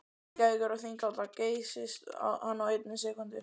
Reykjavíkur og Þingvalla geysist hann á einni sekúndu.